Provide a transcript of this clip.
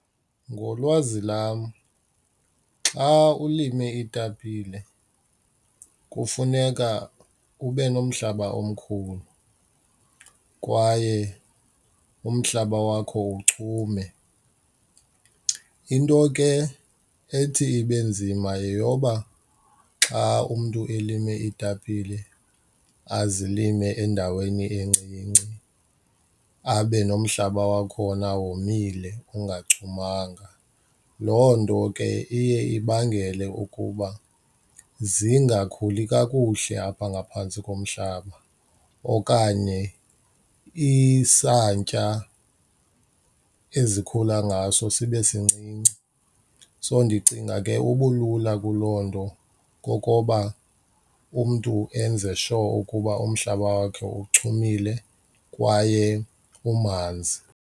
Ngolwazi lam, xa ulime iitapile kufuneka ube nomhlaba omkhulu kwaye umhlaba wakho uchume. Into ke ethi ibe nzima yeyoba xa umntu elime iitapile azilime endaweni encinci abe nomhlaba wakhona womile engachumanga, loo nto ke iye ibangele ukuba zingakhuli kakuhle apha ngaphantsi komhlaba okanye isantya ezikhula ngaso sibe sincinci. So ndicinga ke ubulula kuloo nto kokoba umntu enze sure ukuba umhlaba wakhe uchumile kwaye umanzi.